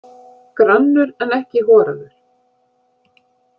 Grannur en ekki horaður.